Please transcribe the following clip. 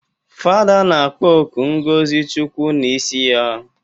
Fada na-akpọku ngọzi chukwu n'isi ya